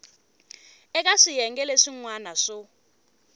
eka swiyenge leswin wana swo